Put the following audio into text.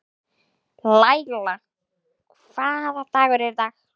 Laíla, hvaða dagur er í dag?